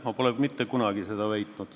Ma pole mitte kunagi seda väitnud.